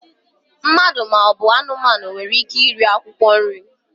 Mmadụ ma ọ bụ anụmanụ nwere ike iri akwụkwọ nri.